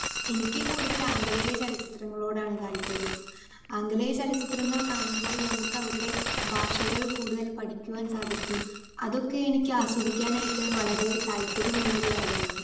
Speaker 2 എനിക്ക് കൂടുതൽ ആംഗലേയ ചിത്രങ്ങളോടാണ് താല്പര്യം. ആംഗലേയ ചലച്ചിത്രങ്ങൾ കാണുമ്പോൾ നമുക്ക് അവരുടെ ഭാഷകൾ കൂടുതൽ പഠിക്കുവാൻ സാധിക്കും, അതൊക്കെ എനിക്ക് ആസ്വദിക്കാൻ ആയിട്ട് വളരെ താല്പര്യമുള്ള ഒരു കാര്യമാണ്.